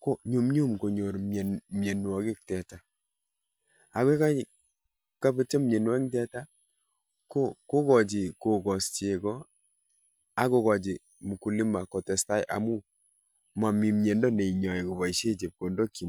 konyumnyum konyor mianwagik teta. Ako yebetcho mianwogik kokachi kokos cheko akokochi mkulima kotestai komie amun momi miando neinyoei koboishe chepkondokchi.